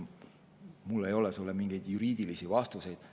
Mul ei ole sulle mingeid juriidilisi vastuseid.